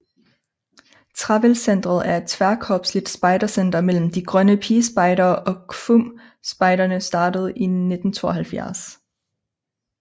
Trevæld Centret er et tværkorpsligt spejdercenter mellem De grønne pigespejdere og KFUM Spejderne startet i 1972